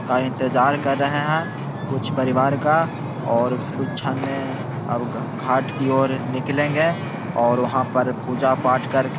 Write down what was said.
का इंतजार कर रहे है कुछ परिवार का और कुछ छन अब घ घाट की ओर निकलेगे और वहाँ पर पूजा पाठ करके --